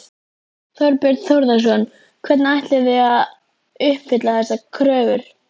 Þorbjörn Þórðarson: Hvernig ætlið þið að að uppfylla þessar kröfur?